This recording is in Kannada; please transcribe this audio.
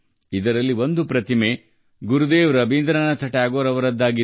ಈ ಪ್ರತಿಮೆಗಳಲ್ಲಿ ಒಂದು ಗುರುದೇವ್ ರವೀಂದ್ರನಾಥ ಟ್ಯಾಗೋರ್ ಅವರದ್ದು